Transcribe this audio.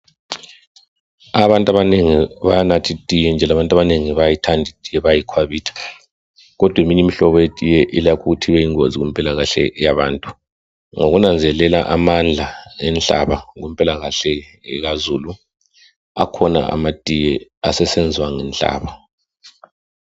Abantu abanengi bayanatha itiye njalo abantu abanengi bayayithanda itiye, bayayikhwabitha. Kodwa eminye imihlobo yetiye ilakho ukuthi ibe yingozi kumpilakahle yabantu. Ngokunanzelela amandla enhlaba kumpilakahle ekazulu, akhona amatiye asesenzwa ngenhlaba.